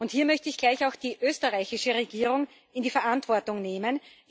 Hier möchte ich gleich auch die österreichische Regierung in die Verantwortung nehmen.